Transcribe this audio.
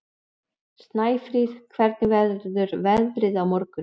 Snæfríð, hvernig verður veðrið á morgun?